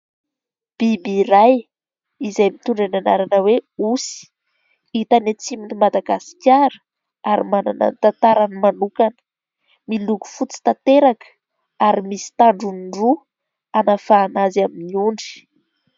Biby iray izay mitondra ny anarana hoe osy, hita any atsimon' i madagasikara ary manana ny tantarany manokana. Miloko fotsy tanteraka ary misy tandrony roa hanavahana azy amin'ny ondry.